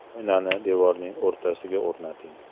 Oynani devorning o‘rtasiga o‘rnating.